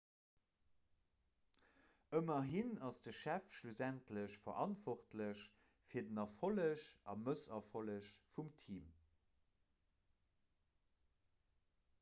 ëmmerhin ass de chef schlussendlech verantwortlech fir den erfolleg a mësserfolleg vum team